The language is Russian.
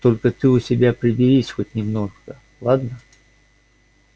только ты у себя приберись хоть немного ладно